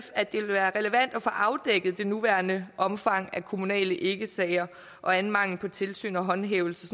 at det ville være relevant at få afdækket det nuværende omfang af kommunale ikkesager og anden mangel på tilsyn og håndhævelse